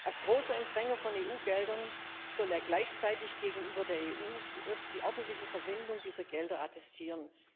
Als großer Empfänger von EU Geldern soll er gleichzeitig gegenüber der EU die ordentliche Verwendung dieser Gelder attestieren.